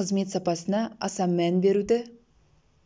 қызмет сапасына аса мән беруді